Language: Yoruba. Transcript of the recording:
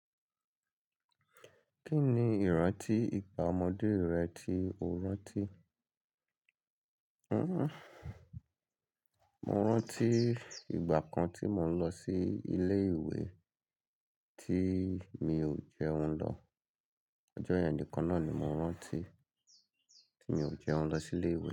Kí ni ìrántí ìgbà ọmọdé rẹ tí o rántí? Mo rántí ìgbà kan tí mo ń lọ sí ilé ìwé tí mi ò jẹun lọ. Ọjọ́ ìyẹn nìkan náà ni mo rántí tí mi ò jẹun lọ sí ilé ìwé.